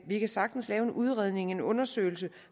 vi kan sagtens lave en udredning en undersøgelse